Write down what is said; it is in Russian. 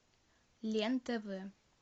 лен тв